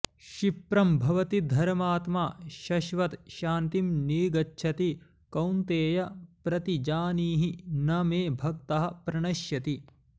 क्षिप्रं भवति धर्मात्मा शश्वत् शान्तिं निगच्छति कौन्तेय प्रतिजानीहि न मे भक्तः प्रणश्यति